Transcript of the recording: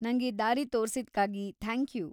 ನಂಗೆ ದಾರಿ ತೋರ್ಸಿದ್ಕಾಗಿ ಥ್ಯಾಂಕ್‌ ಯೂ.